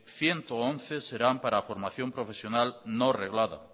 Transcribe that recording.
ciento once serán para formación profesional no reglada